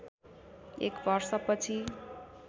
एक वर्ष पछि